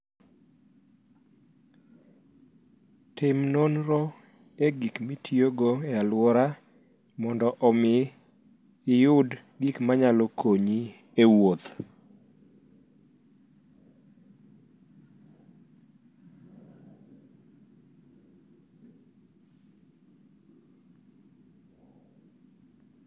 Tim nonro e gik mitiyogo e alworau mondo omi iyud gik manyalo konyi e wuoth.